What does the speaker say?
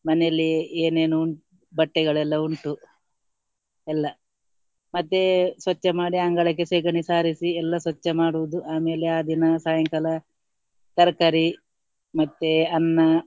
ಮನೆಯಲ್ಲಿ ಏನೇನು ಉಂ~ ಬಟ್ಟೆಗಳೆಲ್ಲ ಉಂಟು ಎಲ್ಲ ಮತ್ತೆ ಸ್ವಚ್ಛ ಮಾಡಿ ಅಂಗಳಕ್ಕೆ ಸೆಗಣಿ ಸಾರಿಸಿ ಎಲ್ಲ ಸ್ವಚ್ಛ ಮಾಡುವುದು, ಆಮೇಲೆ ಆ ದಿನ ಸಾಯಂಕಾಲ ತರ್ಕಾರಿ ಮತ್ತೆ ಅನ್ನ.